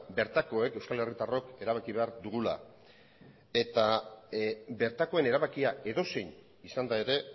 bertakoek euskal herritarrok erabaki behar dugula eta bertakoen erabakia edozein izanda ere